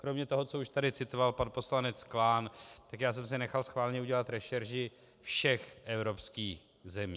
Kromě toho, co už tady citoval pan poslanec Klán, tak já jsem si nechal schválně udělat rešerši všech evropských zemí.